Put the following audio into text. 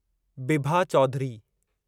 Bibha Chaudhary